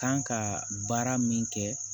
Kan ka baara min kɛ